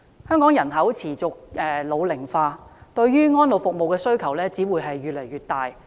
香港人口持續老齡化，對於安老服務的需求只會越來越大。